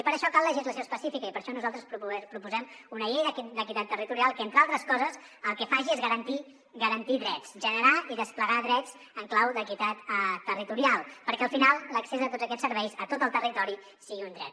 i per a això cal legislació específica i per això nosaltres proposem una llei d’equitat territorial que entre altres coses el que faci és garantir drets generar i desplegar drets en clau d’equitat territorial perquè al final l’accés a tots aquests serveis a tot el territori sigui un dret